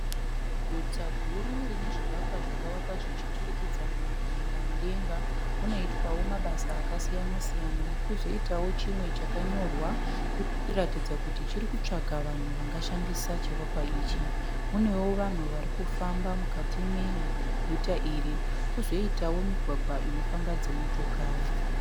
Guta guru rine zvivakwa zvakavakwa zvichiturikidzana kuenda mudenga munoitwawo mabasa akasiyana siyana. Kwozoitawo chimwe chakanyorwa kuratidza kuti chiri kutsvaga vanhu vangashandisa chivakwa ichi. Kunewo vanhu vari kufamba mukati meguta iri kwozitawo migwagwa inofamba dzimotokari.